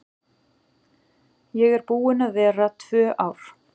Ég er búin að vera tvö ár.